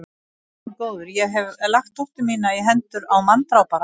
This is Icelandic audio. Ó, Guð minn góður, ég hef lagt dóttur mína í hendurnar á manndrápara.